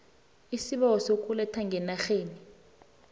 iisibawo sokuletha ngenarheni